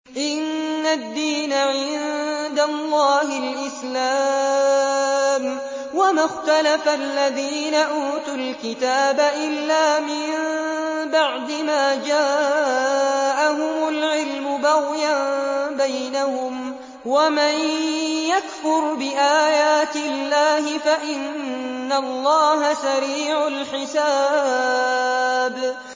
إِنَّ الدِّينَ عِندَ اللَّهِ الْإِسْلَامُ ۗ وَمَا اخْتَلَفَ الَّذِينَ أُوتُوا الْكِتَابَ إِلَّا مِن بَعْدِ مَا جَاءَهُمُ الْعِلْمُ بَغْيًا بَيْنَهُمْ ۗ وَمَن يَكْفُرْ بِآيَاتِ اللَّهِ فَإِنَّ اللَّهَ سَرِيعُ الْحِسَابِ